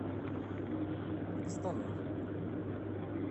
костанай